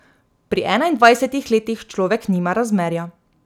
Pri enaindvajsetih letih človek nima razmerja.